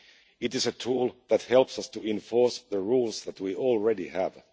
It is a tool that helps us to enforce the rules that we already have.